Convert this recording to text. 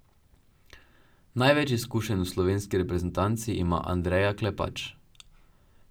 Največ izkušenj v slovenski reprezentanci ima Andreja Klepač.